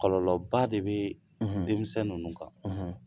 Kɔlɔlɔba de bɛ; ; Denmisɛn nunnu kan;